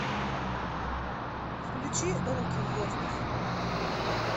включи руки в воздух